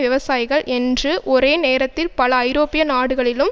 விவசாயிகள் என்று ஒரே நேரத்தில் பல ஐரோப்பிய நாடுகளிலும்